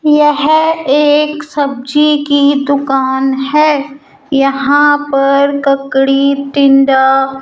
यह एक सब्जी की दुकान है यहां पर कड़ी टिंडा --